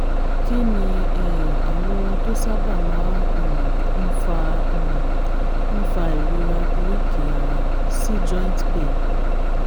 kí ni um àwọn ohun tó sábà máa um ń fa um ń fa ìrora oríkèé ara si joint pain